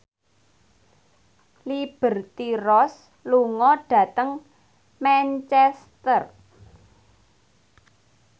Liberty Ross lunga dhateng Manchester